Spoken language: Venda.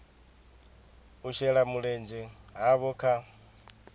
u shela mulenzhe havho kha